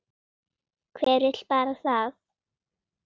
Hver vill bara það?